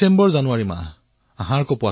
ডিচেম্বৰ জানুৱাৰীৰ দিন আছিল